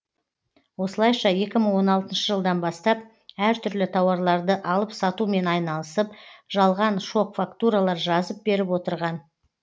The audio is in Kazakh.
осылайша екі мың он алтыншы жылдан бастап әртүрлі тауарларды алып сатумен айналысып жалған шок фактуралар жазып беріп отырған